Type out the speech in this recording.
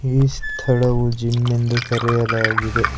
ಈ ಸ್ಥಳವು ಜಿಮ್ ಎಂದು ಕರೆಯಲಾಗಿದೆ.